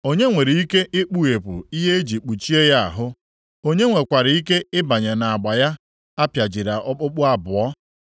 Onye nwere ike ikpughepụ ihe e ji kpuchie ya ahụ? Onye nwekwara ike ịbanye nʼagba ya apịajiri okpukpu abụọ?